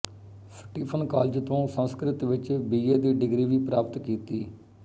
Stephen college ਤੋਂ ਸੰਸਕ੍ਰਿਤ ਵਿੱਚ B A ਦੀ ਡਿਗਰੀ ਵੀ ਪ੍ਰਾਪਤ ਕੀਤੀ